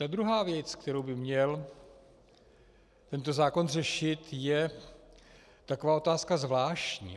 Ta druhá věc, kterou by měl tento zákon řešit, je taková otázka zvláštní.